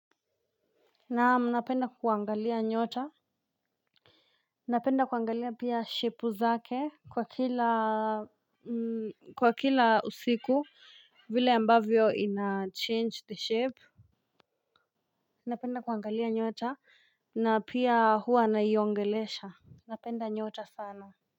Naam, napenda kuangalia nyota, napenda kuangalia pia shepu zake kwa kila kwa kila usiku vile ambavyo inachange the shape. Napenda kuangalia nyota na pia huwa naiongelesha. Napenda nyota sana.